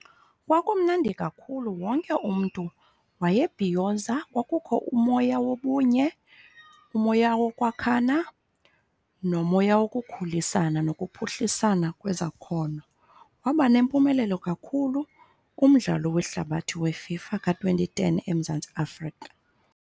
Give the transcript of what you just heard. Kwakumnandi kakhulu. Wonke umntu wayebhiyoza. Kwakukho umoya wobunye, umoya wokwakhana, nomoya wokukhulisana nokuphuhlisana kwezakhono. Waba nempumelelo kakhulu umdlalo wehlabathi weFIFA ka-twenty ten eMzantsi Afrika.